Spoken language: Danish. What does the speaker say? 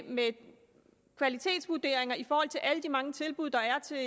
med kvalitetsvurderinger af alle de mange tilbud der er til